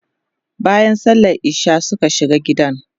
bayan sallan isha'i Suka shiga gidan